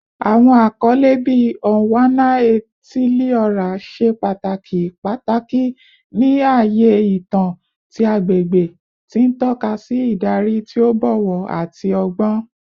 Awọn akọle bii “Onwa-na-etili-ora” ṣe pataki pataki ni aaye itan ti agbegbe, ti n tọka si idari ti o bọwọ ati ọgbọn.